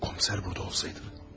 Ya komissar burada olsaydı?